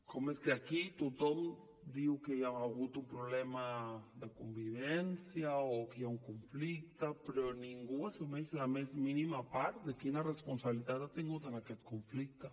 com és que aquí tothom diu que hi ha hagut un problema de convivència o que hi ha un conflicte però ningú assumeix la més mínima part de quina responsabilitat ha tingut en aquest conflicte